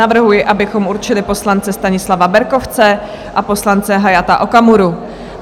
Navrhuji, abychom určili poslance Stanislava Berkovce a poslance Hayata Okamuru.